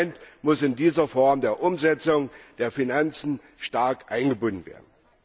Das Parlament muss in dieser Form der Umsetzung der Finanzen stark eingebunden werden.